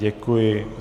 Děkuji.